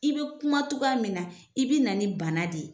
I bɛ kuma cogoya min na, i bɛna ni bana de ye.